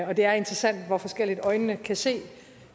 og det er interessant hvor forskelligt øjnene kan se